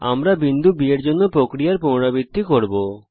আমরা বিন্দু B এর জন্য প্রক্রিয়ার পুনরাবৃত্তি করব